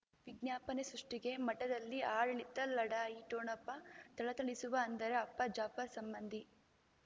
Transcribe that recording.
ವಿಜ್ಞಾಪನೆ ಸೃಷ್ಟಿಗೆ ಮಠದಲ್ಲಿ ಆಡಳಿತ ಲಢಾಯಿ ಠೊಣಪ ಥಳಥಳಿಸುವ ಅಂದರೆ ಅಪ್ಪ ಜಾಫರ್ ಸಂಬಂಧಿ